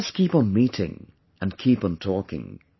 Let us keep on meeting and keep on talking